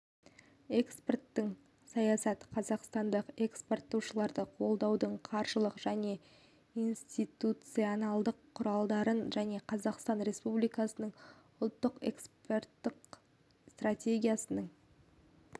экспорттық саясат қазақстандық экспорттаушыларды қолдаудың қаржылық және институционалдық құралдарын және қазақстан республикасының ұлттық экспорттық стратегиясының